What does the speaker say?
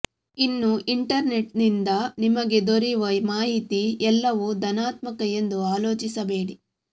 ಇನ್ನು ಇಂಟರ್ನೆಟ್ನಿಂದ ನಿಮಗೆ ದೊರೆಯುವ ಮಾಹಿತಿ ಎಲ್ಲವೂ ಧನಾತ್ಮಕ ಎಂದು ಆಲೋಚಿಸಬೇಡಿ